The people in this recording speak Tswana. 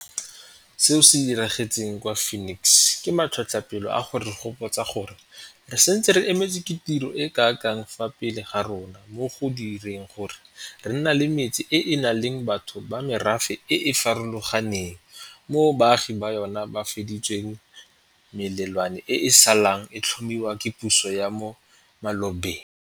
Seo se diragetseng kwa Phoenix ke matlhotlhapelo a go re gopotsa gore re santse re emetswe ke tiro e kana kang fa pele ga rona mo go direng gore re nne le metse e e nang le batho ba merafe e e farologaneng moo baagi ba yona ba fedisitseng melelwane e e saleng e tlhomiwa ke puso ya mo malobeng.